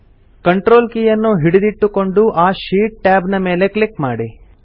control ಕೀಯನ್ನು ಹಿಡಿದಿಟ್ಟುಕೊಂಡು ಆ ಶೀಟ್ ಟ್ಯಾಬ್ ನ ಮೇಲೆ ಕ್ಲಿಕ್ ಮಾಡಿ